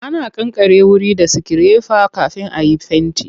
Ana kankare wuri da sikirefa kafin a yi fenti.